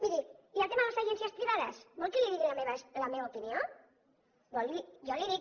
miri i el tema de les agències privades vol que li digui la meva opinió jo la hi dic